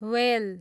whale